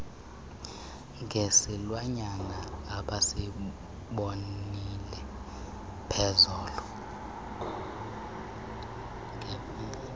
ngesilwanyana abesibonile ngepheezolo